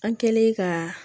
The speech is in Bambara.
An kɛlen ka